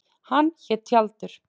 Hann hét Tjaldur.